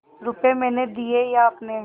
रुपये मैंने दिये या आपने